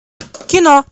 кино